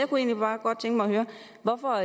hvorfor